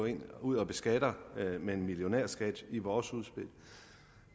ud og beskatter med en millionærskat i vores udspil